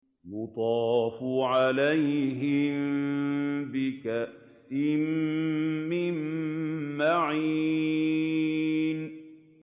يُطَافُ عَلَيْهِم بِكَأْسٍ مِّن مَّعِينٍ